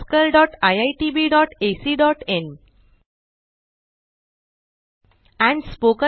oscariitbacइन and spoken tutorialorgnmeict intro